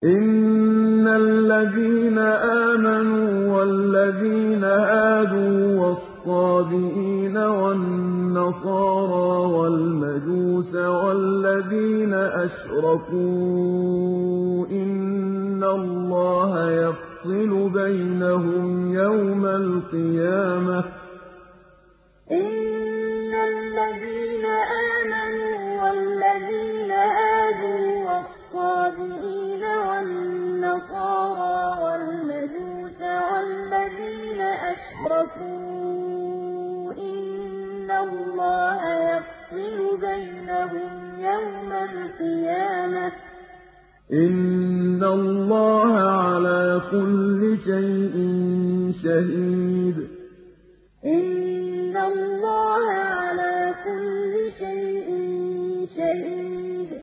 إِنَّ الَّذِينَ آمَنُوا وَالَّذِينَ هَادُوا وَالصَّابِئِينَ وَالنَّصَارَىٰ وَالْمَجُوسَ وَالَّذِينَ أَشْرَكُوا إِنَّ اللَّهَ يَفْصِلُ بَيْنَهُمْ يَوْمَ الْقِيَامَةِ ۚ إِنَّ اللَّهَ عَلَىٰ كُلِّ شَيْءٍ شَهِيدٌ إِنَّ الَّذِينَ آمَنُوا وَالَّذِينَ هَادُوا وَالصَّابِئِينَ وَالنَّصَارَىٰ وَالْمَجُوسَ وَالَّذِينَ أَشْرَكُوا إِنَّ اللَّهَ يَفْصِلُ بَيْنَهُمْ يَوْمَ الْقِيَامَةِ ۚ إِنَّ اللَّهَ عَلَىٰ كُلِّ شَيْءٍ شَهِيدٌ